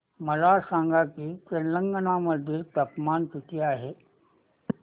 मला सांगा की तेलंगाणा मध्ये तापमान किती आहे